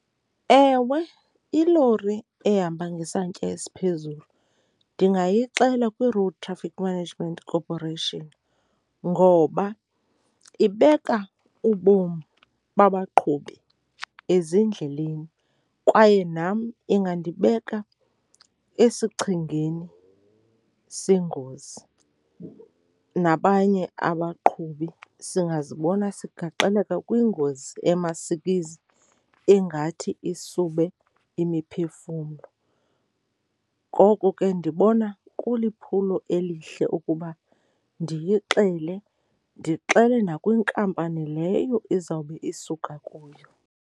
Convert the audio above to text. Ewe, ilori ehamba ngesantya esiphezulu ndingayixela kwiRoad Traffic Management Corporation ngoba ibeka ubomi babaqhubi ezindleleni kwaye nam ingandibeka esichengeni sengozi nabanye abaqhubi. Singazibona sigaxeleka kwingozi emasikizi engathi isube imiphefumlo. Ngoku ke ndibona kuliphulo elihle uba ndiyixele, ndixele nakwinkampani leyo izawube isuka kuyo.